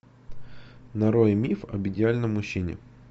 нарой миф об идеальном мужчине